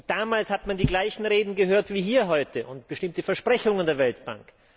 Damals hat man die gleichen Reden gehört wie hier heute und bestimmte Versprechungen der Weltbank.